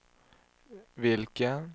vilken